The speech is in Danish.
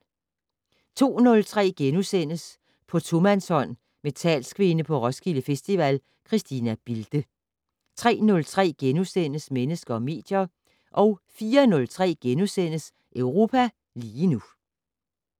02:03: På tomandshånd med talskvinde på Roskilde Festival, Christina Bilde * 03:03: Mennesker og medier * 04:03: Europa lige nu *